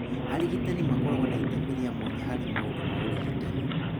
Arigitani makoragwo na itemi rĩa mwanya harĩ maũndũ ma ũrigitani.